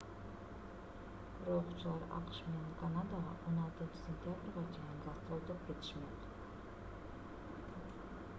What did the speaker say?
рокчулар акш менен канадага 16-сентябрга чейин гастролдоп кетишмек